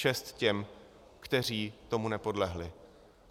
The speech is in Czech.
Čest těm, kteří tomu nepodlehli.